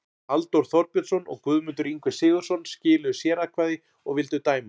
Halldór Þorbjörnsson og Guðmundur Ingvi Sigurðsson skiluðu sératkvæði og vildu dæma